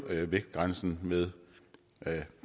vægtgrænsen med